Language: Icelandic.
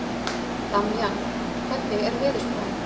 Damjan, hvernig er veðurspáin?